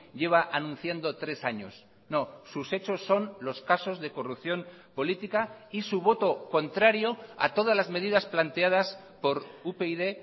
lleva anunciando tres años no sus hechos son los casos de corrupción política y su voto contrario a todas las medidas planteadas por upyd